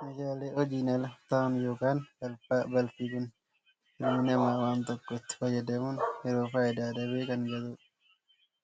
Meeshaalee hojiin ala ta'an yookaan balfaa, balfii kun ilmii namaa wanta tokko itti fayyadamuun yeroo fayyidaa dhabe kan gatu dha.